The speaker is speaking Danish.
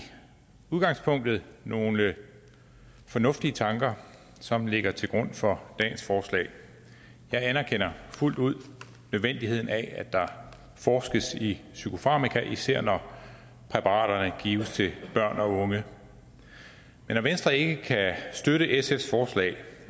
udgangspunktet nogle fornuftige tanker som ligger til grund for dagens forslag jeg anerkender fuldt ud nødvendigheden af at der forskes i psykofarmaka især når præparaterne gives til børn og unge men når venstre ikke kan støtte sfs forslag